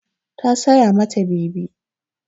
Ta saya ma ta bebi.